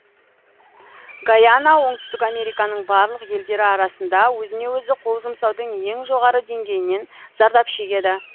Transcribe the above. гайана оңтүстік американың барлық елдері арасында өзіне өзі қол жұмсаудың ең жоғары деңгейінен зардап шегеді